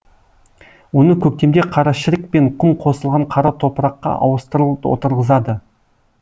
оны көктемде қарашірік пен құм қосылған қара топыраққа ауыстырыл отырғызады